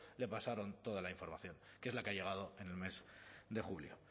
le pasaron toda la información que es la que ha llegado en el mes de julio